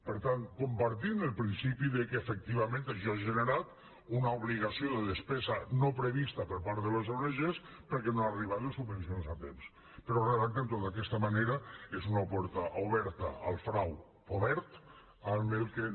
per tant compartim el principi que efectivament això ha generat una obligació de despesa no prevista per part de les ong perquè no han arribat les subvencions a temps però redactant ho d’aquesta manera és una porta oberta al frau obert amb el qual